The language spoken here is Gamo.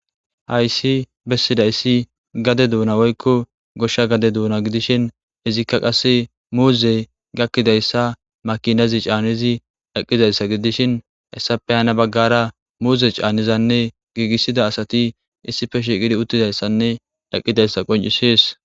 hayssi bessidaysi gade duuna woykko goshsha gade duuna gidishin izikka qasse muuzey gakkidayssa makinazi caanizi eqqizayssa gidishin hayssape hana baggara muuze caanizanne giigissida asati issife shiiqidi uttidayssanne eqqidaysa qonccises